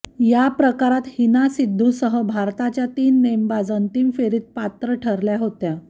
या प्रकारात हिना सिद्धूसह भारताच्या तीन नेमबाज अंतिम फेरीत पात्र ठरल्या होत्या